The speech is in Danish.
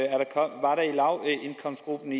den